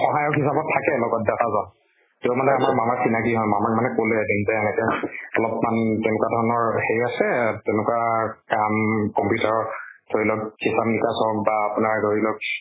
সহায়ক হিচাবত থাকে লগত দাতা জন, তেওঁ মানে আমাৰ মামাৰ চিনাকী হয়। মানে কলে তেন্তে এনেকে অলপ্মান তেনেকুৱা ধৰণৰ সেই আছে। তেনেকুৱা কাম computer ত ধৰি লওক হিচাপ নিকাচ হওক বা আপোনাৰ ধৰি লওক